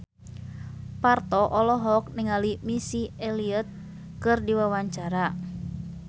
Parto olohok ningali Missy Elliott keur diwawancara